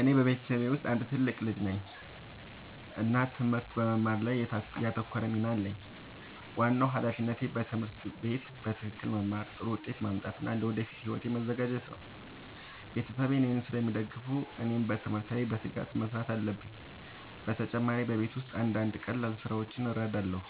እኔ በቤተሰቤ ውስጥ አንድ ትልቅ ልጅ ነኝ እና ትምህርት በመማር ላይ ያተኮረ ሚና አለኝ። ዋናው ሃላፊነቴ በትምህርት ቤት በትክክል መማር፣ ጥሩ ውጤት ማምጣት እና ለወደፊት ሕይወቴ መዘጋጀት ነው። ቤተሰቤ እኔን ስለሚደግፉ እኔም በትምህርት ላይ በትጋት መስራት አለብኝ። በተጨማሪ በቤት ውስጥ አንዳንድ ቀላል ስራዎችን እረዳለሁ።